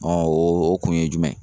o kun ye jumɛn ye